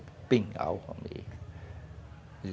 É penhal, amigo.